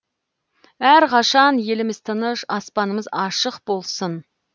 әрқашан еліміз тыныш аспанымыз ашық болсын